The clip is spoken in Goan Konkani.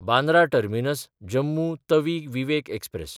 बांद्रा टर्मिनस–जम्मू तवी विवेक एक्सप्रॅस